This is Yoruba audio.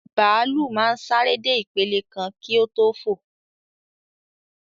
Bàálù máa ń sáré dé ìpele kan kí o tó fò